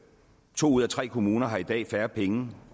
to ud af tre kommuner har i dag færre penge